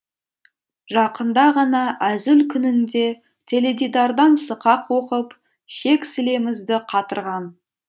жақында ғана әзіл күнінде теледидардан сықақ оқып шек сілемізді қатырған